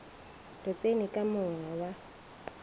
re tseni ka monga wa